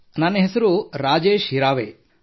ನನ್ನ ಹೆಸರು ರಾಜೇಶ್ ಹಿರಾವೇ